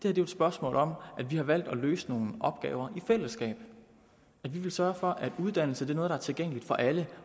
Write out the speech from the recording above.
er jo et spørgsmål om at vi har valgt at løse nogle opgaver i fællesskab at vi vil sørge for at uddannelse er noget der er tilgængeligt for alle